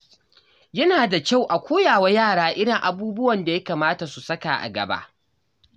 Yana da kyau a koya wa yara irin abubuwan da ya kamata su saka a gaba.